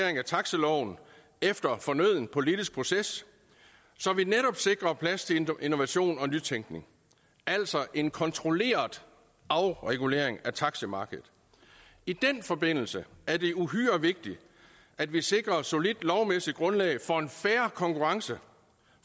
taxiloven efter fornøden politisk proces så vi netop sikrer plads til innovation og nytænkning altså en kontrolleret afregulering af taximarkedet i den forbindelse er det uhyre vigtigt at vi sikrer et solidt lovmæssigt grundlag for en fair konkurrence